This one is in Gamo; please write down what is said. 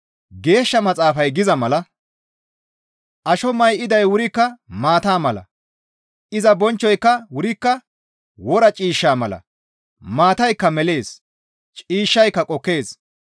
Geeshsha Maxaafay giza mala, «Asho may7iday wurikka maata mala; iza bonchchoyka wurikka wora ciishsha mala; maataykka melees; ciishshayka qokkees.